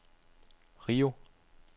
Rio